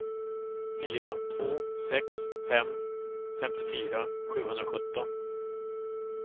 fyra två sex fem femtiofyra sjuhundrasjutton